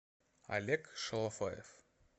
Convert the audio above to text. олег шолофаев